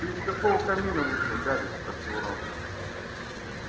ты из какого камина вышел гарри спросил рон